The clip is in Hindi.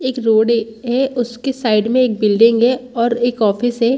एक रोड है उसके साइड में एक बिल्डिंग है और एक ऑफिस है।